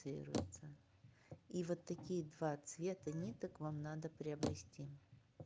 циируется и вот такие два цвета ниток вам надо приобрести